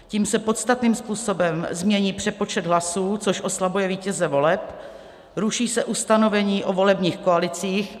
Tím se podstatným způsobem změní přepočet hlasů, což oslabuje vítěze voleb, ruší se ustanovení o volebních koalicích.